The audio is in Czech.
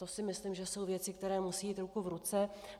To si myslím, že jsou věci, které musí jít ruku v ruce.